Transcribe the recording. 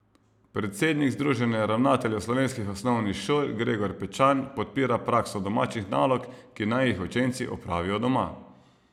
Predsednik Združenja ravnateljev slovenskih osnovnih šol Gregor Pečan podpira prakso domačih nalog, ki naj jih učenci opravijo doma.